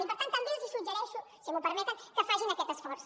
i per tant també els suggereixo si m’ho permeten que facin aquest esforç